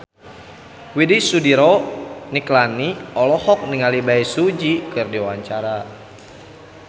Widy Soediro Nichlany olohok ningali Bae Su Ji keur diwawancara